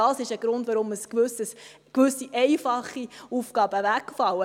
Dies ist ein Grund, weshalb gewisse einfache Aufgaben wegfallen.